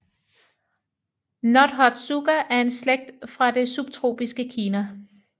Nothotsuga er en slægt fra det subtropiske Kina